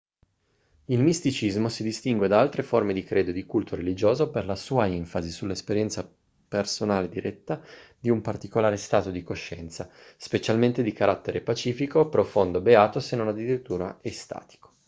il misticismo si distingue da altre forme di credo e di culto religioso per la sua enfasi sull'esperienza personale diretta di un particolare stato di coscienza specialmente di carattere pacifico profondo beato se non addirittura estatico